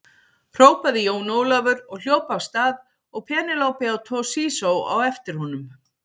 Hrópaði Jón Ólafur og hljóp af stað og Penélope og Toshizo á eftir honum.